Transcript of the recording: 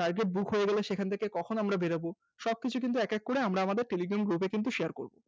target book হয়ে গেলে সেখান থেকে কখন আমরা বেরোবো সবকিছু কিন্তু এক এক করে আমরা আমাদের telegram group এ কিন্তু share করব